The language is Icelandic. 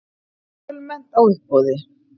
Fjölmennt á uppboði